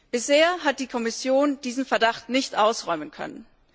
Bisher hat die Kommission diesen Verdacht nicht ausräumen können.